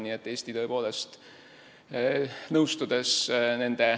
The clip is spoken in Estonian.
Nii et Eesti tõepoolest, nõustudes nende ...